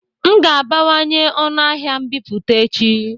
M ga-abawanye ọnụ ahịa mbipụta echi